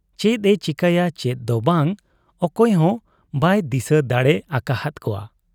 ᱪᱮᱫ ᱮ ᱪᱤᱠᱟᱹᱭᱟ ᱪᱮᱫ ᱫᱚ ᱵᱟᱝ, ᱚᱠᱟᱦᱚᱸ ᱵᱟᱭ ᱫᱤᱥᱟᱹ ᱫᱟᱲᱮ ᱟᱠᱟ ᱦᱟᱫ ᱟ ᱾